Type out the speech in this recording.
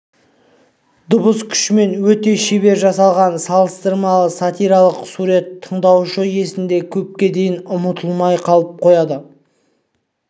дыбыс күшімен өте шебер жасалған салыстырмалы сатиралық сурет тыңдаушы есінде көпке дейін ұмытылмастай қалып қояды